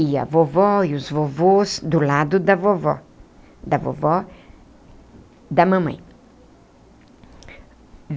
E a vovó e os vovôs do lado da vovó, da vovó, da mamãe.